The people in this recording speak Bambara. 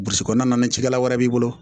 Burusi kɔnɔna na cikɛla wɛrɛ b'i bolo